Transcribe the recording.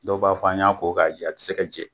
Dɔw b'a fɔ an y'a ko k'a jɛ, a tɛ se ka jɛ!